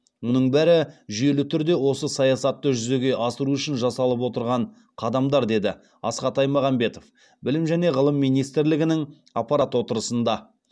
мұның бәрі жүйелі түрде осы саясатты жүзеге асыру үшін жасалып отырған қадамдар деді асхат аймағамбетов білім және ғылым министрлігінің аппарат отырысында